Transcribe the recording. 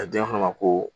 A di yafa ma ko